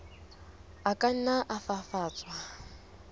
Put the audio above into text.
a ka nna a fafatswa